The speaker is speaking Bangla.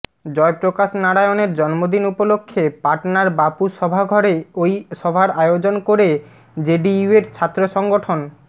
জয়প্রকাশ নারায়ণের জন্মদিন উপলক্ষ্যে পাটনার বাপু সভাঘরে ওই সভার আয়োজন করে জেডিইউয়ের ছাত্র সংগঠন